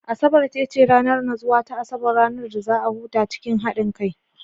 Asabar ita ce ranar natsuwa ta Asabar, ranar da za a huta cikin haɗin kai.